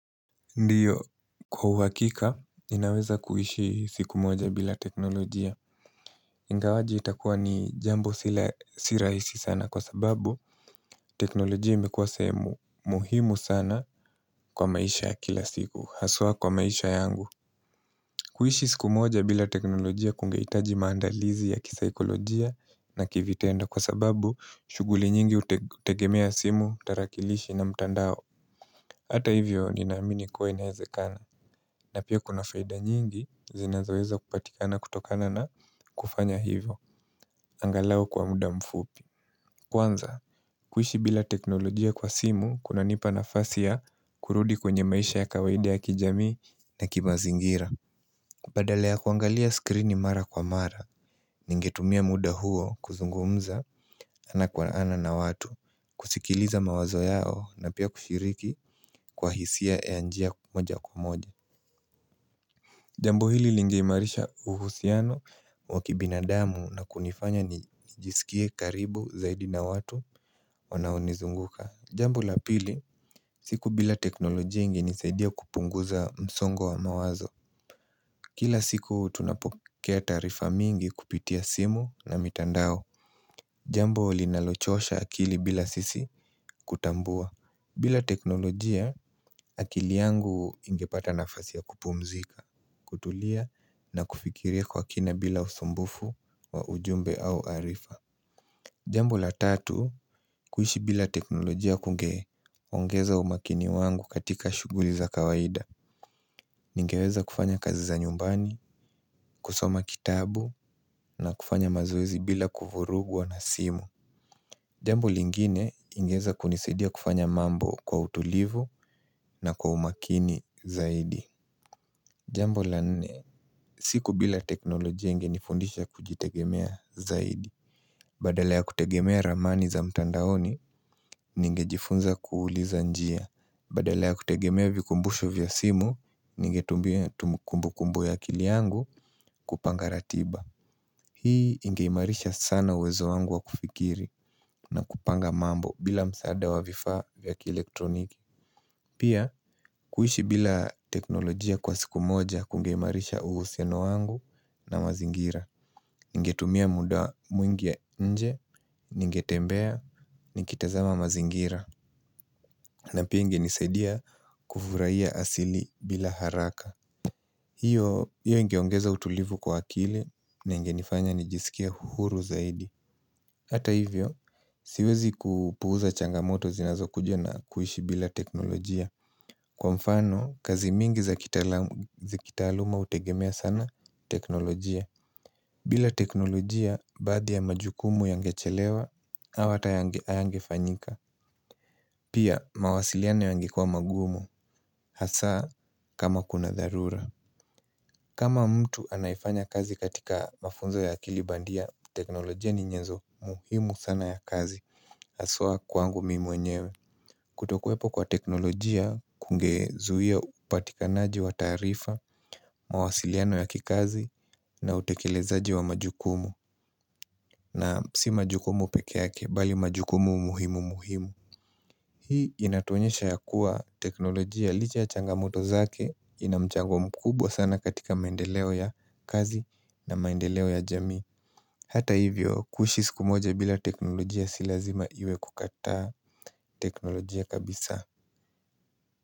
Ndiyo, kwa uhakika inaweza kuishi siku moja bila teknolojia Ngawaji itakuwa ni jambo sirahisi sana kwa sababu teknolojia imekuwa sehemu muhimu sana kwa maisha ya kila siku haswa kwa maisha yangu kuishi siku moja bila teknolojia kungeitaji maandalizi ya kisaikolojia na kivitendo kwa sababu shuguli nyingi utegemea simu, tarakilishi na mtandao Hata hivyo ninaamini kuwa inaezekana na pia kuna faida nyingi zinazoweza kupatikana kutokana na kufanya hivo angalau kwa mda mfupi Kwanza, kuishi bila teknolojia kwa simu kunanipa nafasi ya kurudi kwenye maisha ya kawaida ya kijamii na kimazingira. Kupedelea kuangalia skrini mara kwa mara Ningetumia muda huo kuzungumza ana kwa ana na watu kusikiliza mawazo yao na pia kushiriki kwa hisia ya njia moja kwa moja Jambo hili lingeimarisha uhusiano wakibinadamu na kunifanya nijiskie karibu zaidi na watu wanaonizunguka. Jambo la pili siku bila teknolojia ingenisaidia kupunguza msongo wa mawazo Kila siku tunapokea taarifa mingi kupitia simu na mitandao Jambo linalochosha akili bila sisi kutambua. Bila teknolojia akili yangu ingepata nafasi ya kupumzika, kutulia na kufikiria kwa kina bila usumbufu wa ujumbe au arifa Jambo la tatu, kuishi bila teknolojia kunge ongeza umakini wangu katika shuguli za kawaida Ningeweza kufanya kazi za nyumbani, kusoma kitabu na kufanya mazoezi bila kuvurugwa na simu Jambo lingine ingeeza kunisidia kufanya mambo kwa utulivu na kwa umakini zaidi Jambo la nne, siku bila teknolojia ingenifundisha kujitegemea zaidi Badala ya kutegemea ramani za mtandaoni, ningejifunza kuuliza njia Badala ya kutegemea vikumbusho vya simu, ningetumbia kumbukumbu ya akili yangu kupanga ratiba Hii ingeimarisha sana uwezo wangu wa kufikiri na kupanga mambo bila msaada wa vifaa vya kielektroniki Pia, kuishi bila teknolojia kwa siku moja kungeimarisha uhusiano wangu na mazingira Ningetumia muda mwingie nje, ningetembea nikitazama mazingira na pia ingenisaidia kuvuraia asili bila haraka hiyo hiyo ingeongeza utulivu kwa akili ningenifanya nijisikie huru zaidi Hata hivyo, siwezi kupuuza changamoto zinazokuja na kuishi bila teknolojia. Kwa mfano, kazi mingi za kitaalamu zakitaaluma utegemea sana teknolojia bila teknolojia baadhi ya majukumu yangechelewa, au hata hayangefanyika Pia mawasiliano yangekua magumu hasa kama kuna dharura kama mtu anayefanya kazi katika mafunzo ya kiibandia teknolojia ni nyezo muhimu sana ya kazi Haswa kwangu mimi mwenyewe Kutokuwepo kwa teknolojia kungezuia upatikanaji wa taarifa, mawasiliano ya kikazi na utekelezaji wa majukumu na si majukumu pekeake bali majukumu muhimu muhimu Hii inatuonyesha ya kuwa teknolojia licha ya changamoto zake ina mchango mkubwa sana katika maendeleo ya kazi na maendeleo ya jamii Hata hivyo kuishi siku moja bila teknolojia si lazima iwe kukataa teknolojia kabisa.